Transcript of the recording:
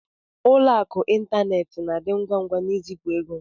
Ụlọ akụ ịntanetị na-adị ngwa ngwa n'izipu ego.